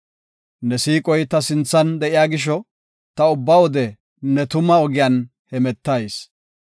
Ne siiqoy ta sinthan de7iya gisho, ta ubba wode ne tuma ogiyan hemetayis.